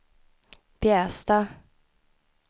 Bjästa